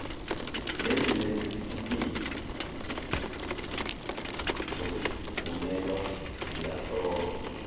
nezinezitifikedi zokuvunyelwa ziyahlolwa